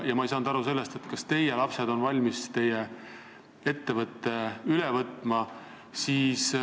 Ja ma ei saanud aru sellest, kas teie lapsed on valmis teie ettevõtte üle võtma.